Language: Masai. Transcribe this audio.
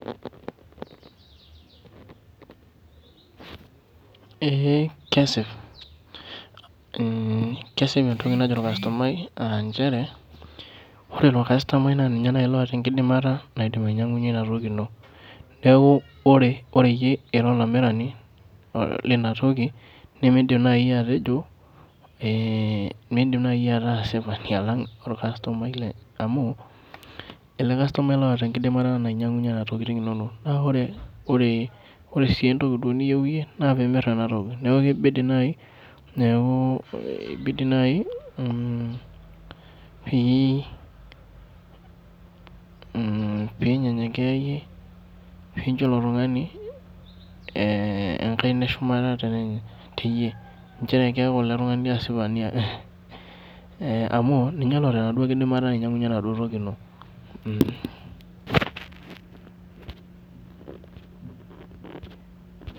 Ee kesip, kesip entoki najo orkastomai ah njere, ore ilo kastomai na ninye nai loota enkidimata naidim ainyang'unye inatoki ino. Neeku ore iyie ira olamirani lina toki, nimidim nai atejo, midim nai ataasipani alang' orkastomai amu, ele kastomai loota enkidimata nainyang'unye enatoking inonok. Na ore si entoki niyieu yie, na pimir enatoki. Neeku kibidi ni neeku, kibidi nai pi nyenyekea yie, pincho ilo tung'ani enkaina eshumata teyie, njere keeku ele tung'ani asipani amu, ninye loota enaduo kidimata nainyang'unye enaduo toki ino.